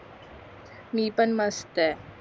मी पण मस्त